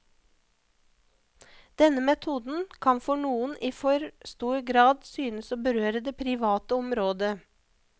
Denne metoden kan for noen i for stor grad synes å berøre det private området.